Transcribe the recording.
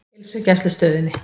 Heilsugæslustöðinni